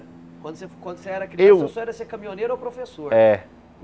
Quando você foi quando você era criança, Eu seu sonho era ser caminhoneiro ou professor. Eh